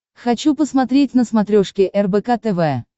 хочу посмотреть на смотрешке рбк тв